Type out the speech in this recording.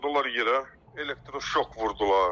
Uzatdılar yerə, elektroşok vurdular.